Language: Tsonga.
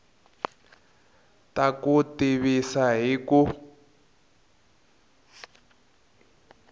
ta ku tivisa hi ku